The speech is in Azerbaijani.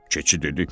Keçi dedi: